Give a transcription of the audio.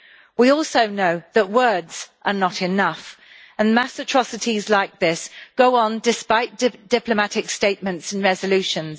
We also know that words are not enough, and mass atrocities like this go on despite diplomatic statements and resolutions.